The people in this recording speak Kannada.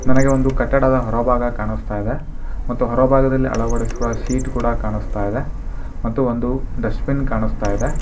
ನನಗೆ ಒಂದು ಕಟ್ಟಡದ ಹೊರಭಾಗ ಕಾಣಿಸ್ತಾ ಇದೆ ಮತ್ತು ಹೊರಭಾಗದಲಿ ಅಳವಡಿಸುವ ಸೀಟ್ ಕೂಡ ಕಾಣಿಸ್ತಾ ಇದೆ ಮತ್ತು ಒಂದು ಡಸ್ಟಬಿನ್ ಕಾಣಿಸ್ತಾ ಇದೆ.